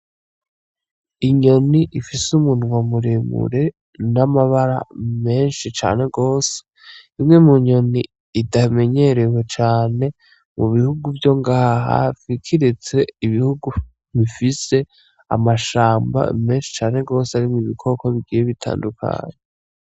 Inyoni ifise umunwa muremure n’amabara menshi cane rwose , imwe mu nyoni itamenyerewe cane mu bihugu vyo ngaha hafi ,kiretse ibihugu bifise amashamba menshi cane rwose arimwo ibikoko bitandukanye.